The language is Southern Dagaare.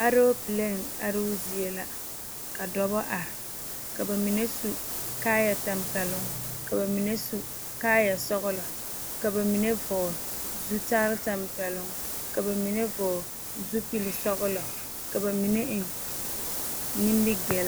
Aloopalee aroo zie la ka dɔba are ka ba mine su kaayatampɛloŋ ka ba mine su kaayasɔglɔ ka ba mine vɔgle zutare tampɛloŋ ka ba mine vɔgle zupilsɔglɔ ka ba mine eŋ nimigilli.